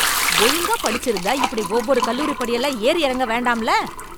ஒழுங்கா படிச்சிருந்தா இப்படி ஒவ்வொரு கல்லூரி படியெல்லாம் ஏறி இறங்க வேண்டாம்ல.